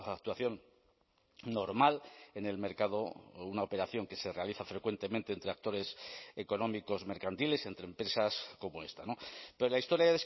actuación normal en el mercado o una operación que se realiza frecuentemente entre actores económicos mercantiles entre empresas como esta pero la historia